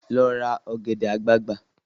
Lọ ra ọ̀gẹ̀dẹ̀ àgbagbà!